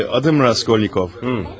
Eee, adım Raskolnikov.